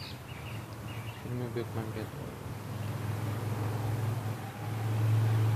фильмы бекмамбетова